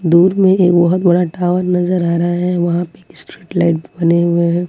दूर में एक बहुत बड़ा टावर नजर आ रहा है वहां एक स्ट्रीट लाइट बने हुए हैं।